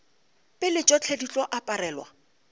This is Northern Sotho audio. pele tšohle di tlo aparelwa